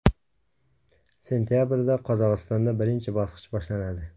Sentabrda Qozog‘istonda birinchi bosqich boshlanadi.